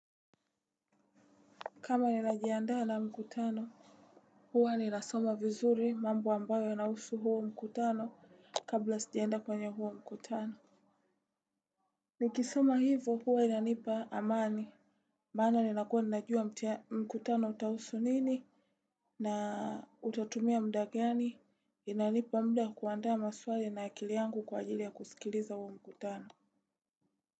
Kama ninajiandaa na mkutano, huwa ninasoma vizuri mambo ambayo inahusu huo mkutano kabla sijaenda kwenye huo mkutano. Nikisoma hivo huwa inanipa amani, maana nina kuwa ninajua mkutano utahusu nini na utatumia muda gani, inanipa muda kwa kuandaa maswali na akili yangu kwa ajili ya kusikiliza huo mkutano.